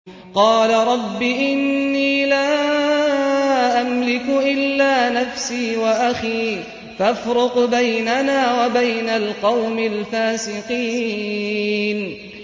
قَالَ رَبِّ إِنِّي لَا أَمْلِكُ إِلَّا نَفْسِي وَأَخِي ۖ فَافْرُقْ بَيْنَنَا وَبَيْنَ الْقَوْمِ الْفَاسِقِينَ